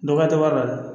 Dɔgɔ tɛ wari la